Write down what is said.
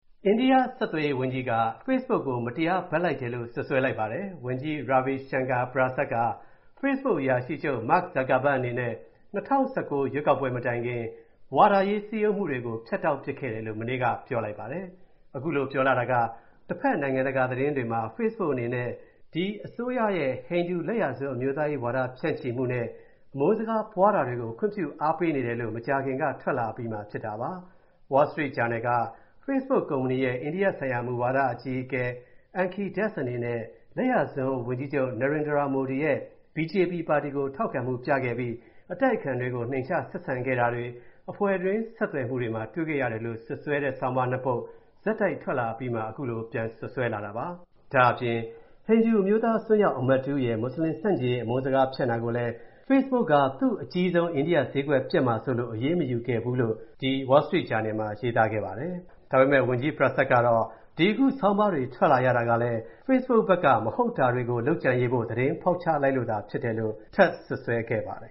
အိန္ဒိယ ဆက်သွယ်ရေး ဝန်ကြီးက Facebook ကို မတရားဘက်လိုက်တယ်လို့ စွပ်စွဲ လိုက်ပါတယ်။ ဝန်ကြီး Ravi Shankar Prasad က Facebook အရာရှိချုပ် Mark Zuckerberg အနေနဲ့ ၂၀၁၉ ရွေးကောက်ပွဲမတိုင်ခင် ဝါဒရေးစည်းရုံးမူတွေကို ဖြတ်တောက်ပစ်ခဲ့တယ်လို့ မနေ့က ပြောလိုက်ပါတယ်။ အခုလိုပြောလာတာက တဖက် နိုင်ငံတကာသတင်းတွေမှာ Facebook အနေနဲ့ ဒီဟိန္ဒူလက်ယာစွန်း အမျိုးသားရေးဝါဒ ဖြန့်ချီမူနဲ့ အမုန်းစကားပွားတာတွေကို ခွင့်ပြုအားပေးနေတယ်လို့ မကြာခင်က ထွက်လာအပြီးမှာ ဖြစ်လာတာပါ။ Wall Street Journal က Facebook ကုမ္ပဏီရဲ့ အိန္ဒိယဆိုင်ရာ မူဝါဒအကြီးအကဲ Ankhi Das အနေနဲ့ လက်ယာစွန်း ဝန်ကြီးချုပ် Narendra Modi ရဲ့ BJP ပါတီကို ထောက်ခံမူပြခဲ့ပြီး၊ အတိုက်အခံတွေကို နှိမ်ချဆက်ဆံခဲ့တာတွေ အဖွဲ့တွင်းဆက်သွယ်မူတွေမှာ တွေ့ခဲ့ရတယ်လို့ စွပ်စွဲတဲ့ ဆောင်းပါး (၂) ပုဒ် ဆက်တိုက်ထွက်လာအပြီးမှာ အခုလိုပြန်စွပ်စွဲလာတာပါ။ ဒါ့အပြင် ဟိန္ဒူအမျိုးသားအစွန်းရောက် အမတ် တစ်ဦးရဲ့ မွတ်ဆလင်ဆန့်ကျင်ရေး အမုန်းစကားဖြန့်တာကိုလည်း Facebook က သူ့ အကြီးဆုံး အိန္ဒိယ ဈေးကွက်ပျက်မှာစိုးလို့ အရေးမယူခဲ့ဘူးလို့ ဒီ Wall Street Journal မှာ ရေးသားခဲ့ပါတယ်။ ဒါပေမဲ့ ဝန်ကြီး Prasad ကတော့ ဒီအခုဆောင်းပါးတွေထွက်လာရတာလည်း Facebook ဖက်က၊ မဟုတ်တာတွေကို လုပ်ကြံရေးဖိ့ု သတင်းဖောက်ချလိုက်လို့သာဖြစ်တယ်လို့ ထပ်စွပ်စွဲခဲ့ပါတယ်